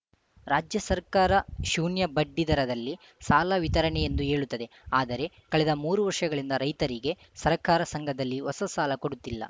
ರಾಜ್ಯ ಸರ್ಕಾರ ಶೂನ್ಯಬಡ್ಡಿ ದರದಲ್ಲಿ ಸಾಲ ವಿತರಣೆ ಎಂದು ಹೇಳುತ್ತದೆ ಆದರೆ ಕಳೆದ ಮೂರು ವರ್ಷಗ ಳಿಂದ ರೈತರಿಗೆ ಸಹಕಾರ ಸಂಘದಲ್ಲಿ ಹೊಸ ಸಾಲ ಕೊಡುತ್ತಿಲ್ಲ